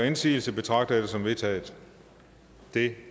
indsigelse betragter jeg dette som vedtaget det